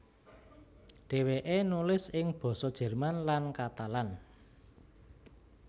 Dhèwèké nulis ing basa Jerman lan Katalan